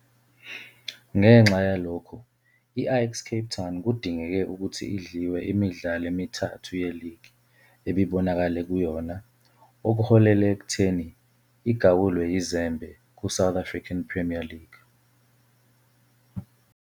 Ngenxa yalokhu, i-Ajax Cape Town kudingeke ukuthi idliwe yimidlalo emithathu yeligi ebibonakale kuyona okuholele ekutheni igawulwe yizembe kuSouth African Premier League.